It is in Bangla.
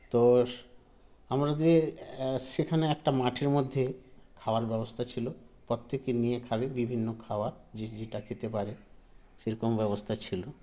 তোস আমাদের এ সেখানে একটা মাঠের মধ্যে খাওয়ার ব্যবস্থা ছিল প্রত্যেকে নিয়ে খাবে বিভিন্ন খাবার যে যেটা খেতে পারে সেরকম ব্যবস্থা ছিল